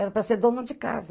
Era para ser dona de casa.